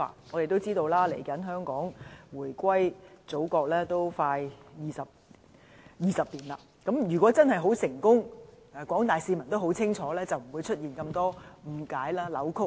大家也知道，香港回歸祖國即將20年了，如果真是很成功和廣大市民也很清楚的話，便不會出現這麼多誤解和扭曲。